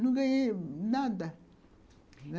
Não ganhei nada.